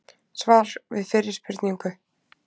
Svar við fyrri spurningu: